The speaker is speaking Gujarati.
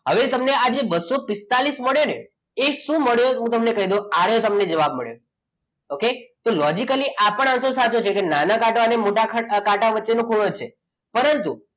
હવે તમને જે આ બસો પિસ્તાળીસ મળે ને એ શું મળે એ હું તમને કહી દઉં આ તમને જવાબ મળ્યો okay હજી કાલે આ પણ અડધો સાચો છે નાના કાંટા અને મોટા કાંટા વચ્ચેનો ખૂણો છે પરંતુ,